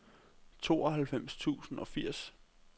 tooghalvfems tusind og firs